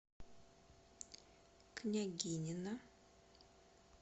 княгинино